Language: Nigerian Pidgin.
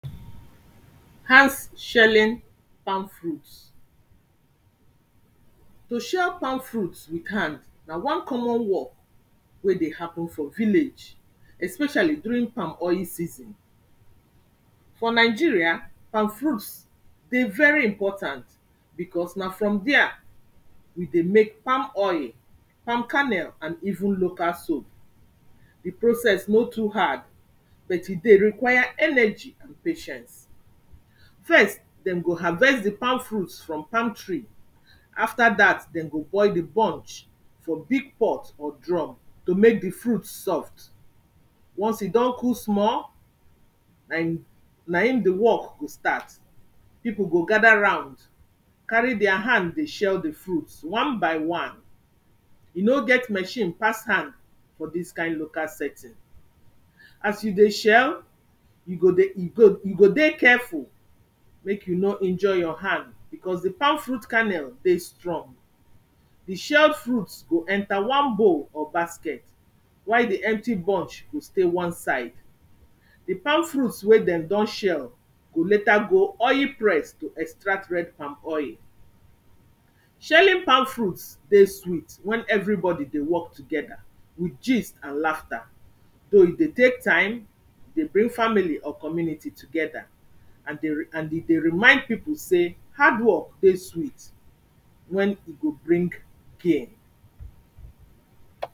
Hand shelling palm fruit. To share palm fruit with hand na one common work wey dey happen for village especially during palm oil season. For Nigeria palm fruits dey very important becos na from dere we dey mek palm oil, palm canel and even local soap. Di process no too hard but e dey require energy and patience. First dey go harvest di palm fruits from palm tree, after dat dey go boil di bunch for big pot or drum to mek do fruit soft. Once e don cook small na e di work start, pipo go gather around carry deir hand dey shell di fruit one by one. E no get machine pass hand for dis kind local setting. As you dey shell, you go dey careful mek you no injury your hand becos di palm fruit canel dey strong, di shelled fruits go enter one bowl or basket while di empty bunch go stay one side. Di palm fruit wey dey don shell go later go oil press to extract red palm oil. Shelling palm fruit dey sweet wen everybody dey work together with gists and laugher, though e dey tek time,e dey bring family or community together and e dey remind pipo dey hard work dey sweet wen e go bring care.